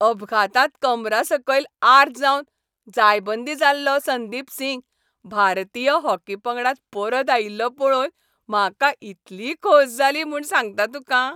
अपघातांत कमरासकयल आर जावन जायबंदी जाल्लो संदिप सिंग भारतीय हॉकी पंगडांत परत आयिल्लो पळोवन म्हाका इतली खोस जाली म्हूण सांगता तुका.